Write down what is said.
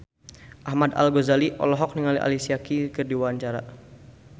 Ahmad Al-Ghazali olohok ningali Alicia Keys keur diwawancara